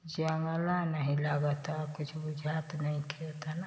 जंगला में ही लागता कुछ बुझात नईखे एतना --